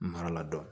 Mara la dɔn